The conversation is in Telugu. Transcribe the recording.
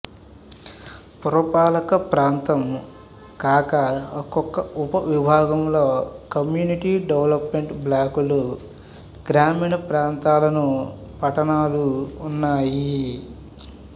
పురపాలకప్రాంతం కాక ఒక్కొక ఉపవిభాగంలో కమ్యూనిటీ డెవెలెప్మెంటు బ్లాకులు గ్రామీణప్రాంతాలున్ పట్టణాలు ఉన్నాయి